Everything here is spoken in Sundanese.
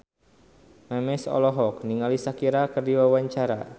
Memes olohok ningali Shakira keur diwawancara